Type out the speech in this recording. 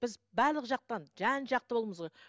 біз барлық жақтан жан жақты